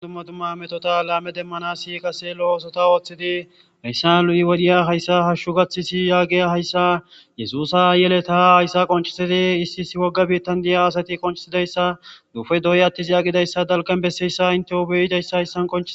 dumma tumma metota laame demmana si qase lo oosota ooththidi meyssa lu7i wodhiya hayssa hashshu gaththisi yaagiy hayssa yesusa yele taha hayssa qoncisidi issi issi wogga biittan diya asati qonciidayssa duufe dooy attis agidayssa dalqan besseyssa inteo beyidayssa hayssan kqoncii